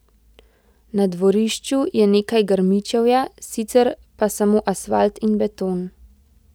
Na dvorišču je nekaj grmičevja, sicer pa samo asfalt in beton.